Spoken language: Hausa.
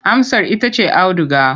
Amsar ita ce auduga.